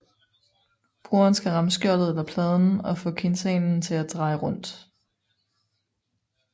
Brugeren skal ramme skjoldet eller pladen og få quintanen til at dreje rundt